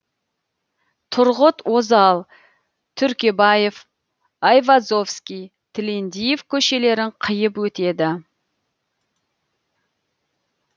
тұрғыт озал түркебаев айвазовский тілендиев көшелерін қиып өтеді